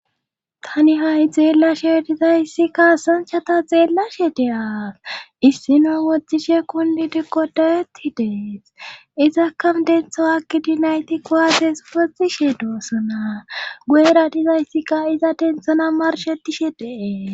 tani ha7i xeellashe dizayssikka sonchata xeellashe de7as issino woxishe kun liide godayeti dees izakka dentho akkidinayti kowaates woxishe doossona guera dizayssikka iza denthona marshetishe dee